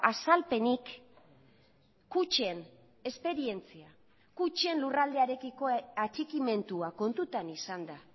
azalpenik kutxen esperientzia kutxen lurraldearekiko atxikimendua kontutan izanda